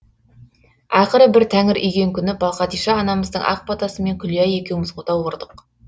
ақыры бір тәңір иген күні балқадиша анамыздың ақ батасымен күлия екеуміз отау құрдық